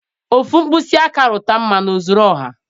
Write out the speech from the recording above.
Ofu mkpịsị aka rụta mmanụ ọ zuru ọha.